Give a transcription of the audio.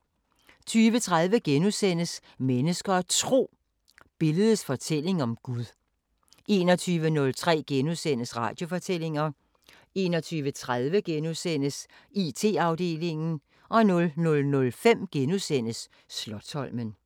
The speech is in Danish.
20:30: Mennesker og Tro: Billedets fortælling om Gud * 21:03: Radiofortællinger * 21:30: IT-afdelingen * 00:05: Slotsholmen *